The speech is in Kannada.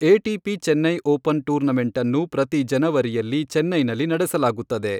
ಎಟಿಪಿ ಚೆನ್ನೈ ಓಪನ್ ಟೂರ್ನಮೆಂಟನ್ನು ಪ್ರತಿ ಜನವರಿಯಲ್ಲಿ ಚೆನ್ನೈನಲ್ಲಿ ನಡೆಸಲಾಗುತ್ತದೆ.